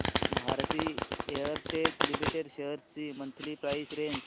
Bharti Airtel limited shares ची monthly price range